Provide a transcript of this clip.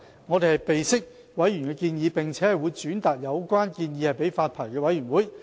我們備悉此建議，並會轉達給發牌委員會。